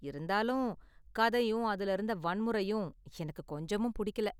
இருந்தாலும், கதையும் அதுல இருந்த வன்முறையும் எனக்கு கொஞ்சமும் பிடிக்கல.